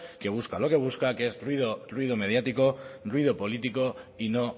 que busca lo que busca que es ruido mediático ruido político y no